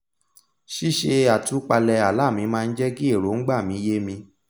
ṣíṣe àtúpalẹ̀ àlá mi máa n jẹ́ kí èròngbà mi yé mi